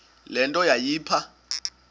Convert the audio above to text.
le nto yayipha